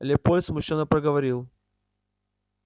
лепольд смущённо проговорил